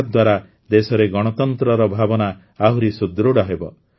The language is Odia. ଏହାଦ୍ୱାରା ଦେଶରେ ଗଣତନ୍ତ୍ରର ଭାବନା ଆହୁରି ସୁଦୃଢ଼ ହେବ